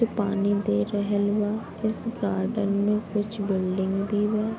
पानी दे रहेल बा | इस गार्डन में कुछ बिल्डिंग भी बा |